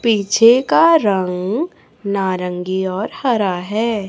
पीछे का रंग नारंगी और हरा है।